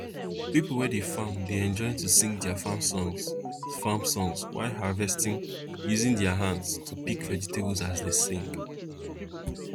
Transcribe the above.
people wey dey farm dey enjoy to sing their farm songs farm songs while harvesting using their hands to pick vegetables as they sing